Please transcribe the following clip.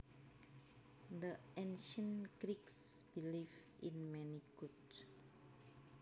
The Ancient Greeks believed in many gods